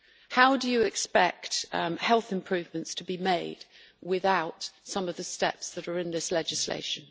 How do you expect health improvements to be made without some of the steps that are in this legislation?